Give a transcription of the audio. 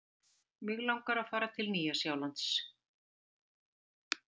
Mig langar að fara til Nýja-Sjálands.